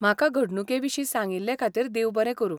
म्हाका घडणुके विशीं सांगिल्लें खातीर देव बरें करूं.